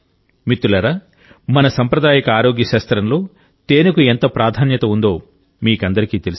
మిత్రులారా మన సాంప్రదాయిక ఆరోగ్య శాస్త్రంలో తేనెకు ఎంత ప్రాధాన్యత ఉందో మీకందరికీ తెలుసు